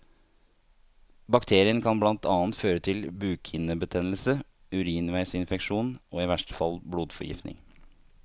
Bakterien kan blant annet føre til bukhinnebetennelse, urinveisinfeksjon og i verste fall blodforgiftning.